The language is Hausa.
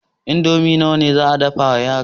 Indomi nawa za a dafa wa yaran?